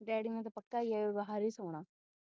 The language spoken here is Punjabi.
ਡੈਡੀ ਮੇਰੇ ਦਾ ਪੱਕਾ ਹੀ ਆ ਬਾਹਰ ਸੋਣਾ।